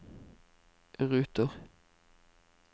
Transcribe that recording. ruter